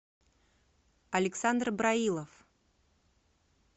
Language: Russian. александр браилов